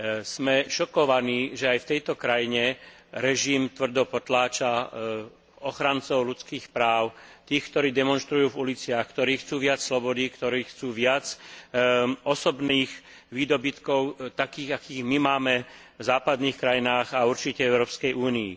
Sme šokovaní, že aj v tejto krajine režim tvrdo potláča ochrancov ľudských práv, tých, ktorí demonštrujú v uliciach, ktorí chcú viac slobody, ktorí chcú viac osobných výdobytkov, takých, ako my máme v západných krajinách a určite v Európskej únii.